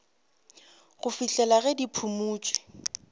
go fihlela ge di phumotšwe